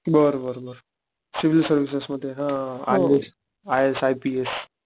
बर बर बर सिविल सर्विसेस मध्ये हा I S I S, I P S